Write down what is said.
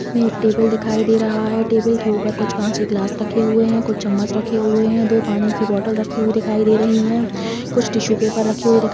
ये एक टेबल दिखाई दे रहा है टेबल के ऊपर कुछ काँच के गिलास रखे हुए है कुछ चम्मच रखे हुए है दो पानी के बोतल रखे हुए दिखाई दे रही है कुछ टिस्सु पेपर रखे हुए है दिखाई --